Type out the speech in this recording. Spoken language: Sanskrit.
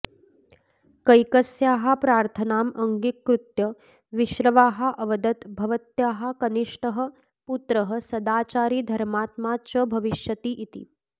कैकस्याः प्रार्थनाम् अङ्गीकृत्य विश्रवाः अवदत् भवत्याः कनिष्टः पुत्रः सदाचारी धर्मात्मा च भविष्यति इति